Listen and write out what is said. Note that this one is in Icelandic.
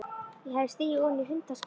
Ég hafði stigið ofan í hundaskít.